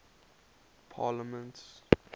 parliaments